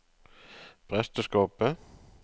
presteskapet